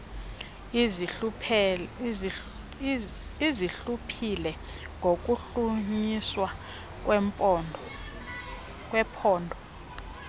lizihluphile ngokuhlunyiswa kwephondo